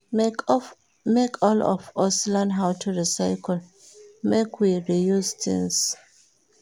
Make all of us learn how to recycle, make we reuse tins.